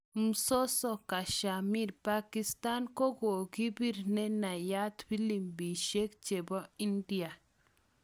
Mzozo kashmir, Pakistan kokipir ne nayaat filimbishek chepo India